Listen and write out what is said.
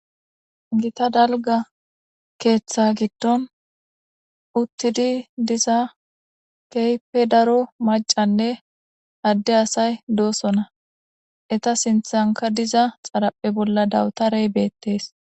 Gita dalga keeththa giddon uttidi diza keype daro macanne adde asay doosona eta sinthanka diza xaraphe bolla dawutarey beettees.